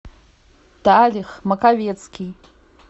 талих маковецкий